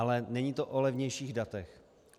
Ale není to o levnějších datech.